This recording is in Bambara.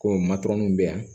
Ko matɔrɔniw bɛ yan